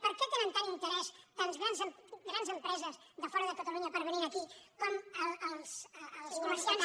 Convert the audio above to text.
per què tenen tant interès tantes grans empreses de fora de catalunya per venir aquí com els comerciants